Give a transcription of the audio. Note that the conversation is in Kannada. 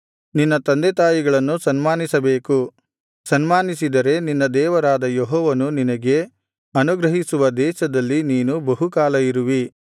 ನಿನ್ನ ತಂದೆತಾಯಿಗಳನ್ನು ಸನ್ಮಾನಿಸಬೇಕು ಸನ್ಮಾನಿಸಿದರೆ ನಿನ್ನ ದೇವರಾದ ಯೆಹೋವನು ನಿನಗೆ ಅನುಗ್ರಹಿಸುವ ದೇಶದಲ್ಲಿ ನೀನು ಬಹುಕಾಲ ಬದುಕುವಿ